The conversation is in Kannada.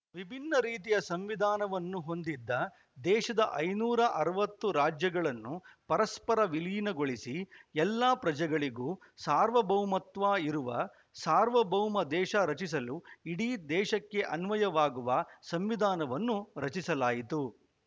ವಿಭಿನ್ನ ರೀತಿಯ ಸಂವಿಧಾನವನ್ನು ಹೊಂದಿದ್ದ ದೇಶದ ಐದುನೂರ ಅರವತ್ತು ರಾಜ್ಯಗಳನ್ನು ಪರಸ್ಪರ ವಿಲೀನಗೊಳಿಸಿ ಎಲ್ಲಾ ಪ್ರಜೆಗಳಿಗೂ ಸಾರ್ವಭೌಮತ್ವ ಇರುವ ಸಾರ್ವಭೌಮ ದೇಶ ರಚಿಸಲು ಇಡೀ ದೇಶಕ್ಕೆ ಅನ್ವಯವಾಗುವ ಸಂವಿಧಾನವನ್ನು ರಚಿಸಲಾಯಿತು